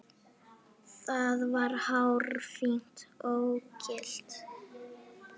Það var hárfínt ógilt.